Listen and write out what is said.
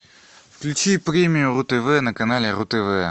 включи премию ру тв на канале ру тв